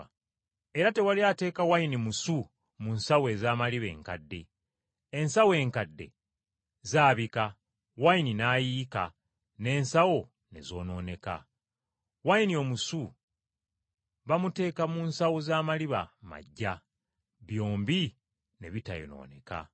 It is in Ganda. Era tewali ateeka wayini musu mu nsawo ez’amaliba enkadde. Ensawo enkadde zaabika wayini n’ayiika n’ensawo ne zoonooneka. Wayini omusu bamuteeka mu nsawo z’amaliba maggya, byombi ne bitayonooneka.”